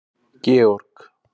Georg